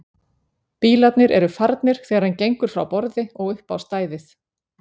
Bílarnir eru farnir þegar hann gengur frá borði og upp á stæðið.